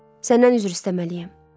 Səndən üzr istəməliyəm.